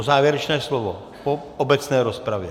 O závěrečné slovo po obecné rozpravě?